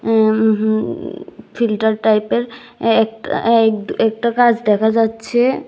ইমমম উঁহু ফিল্টার টাইপের একটা এক একটা গাছ দেখা যাচ্ছে।